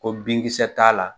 Ko binkisɛ t'a la.